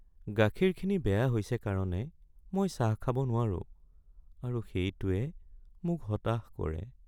গাখীৰখিনি বেয়া হৈছে কাৰণে মই চাহ খাব নোৱাৰো আৰু সেইটোৱে মোক হতাশ কৰে।